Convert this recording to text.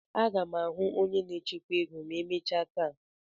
Aga m ahụ onye na-echekwa ego ma emechaa taa.